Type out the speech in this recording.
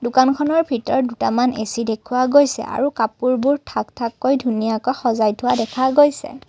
দোকানখনৰ ভিতৰত দুটামান এ_চি দেখুওৱা গৈছে আৰু কাপোৰবোৰ থাক থাক কৈ ধুনীয়াকৈ সজাই থোৱা দেখা গৈছে।